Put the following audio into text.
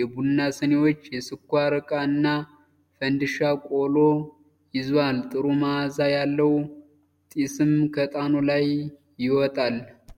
የቡና ስኒዎች፣ የስኳር እቃ እና ፈንዲሻ ቆሎ ይዟል፤ ጥሩ መዓዛ ያለው ጢስም ከዕጣኑ ላይ ይወጣል።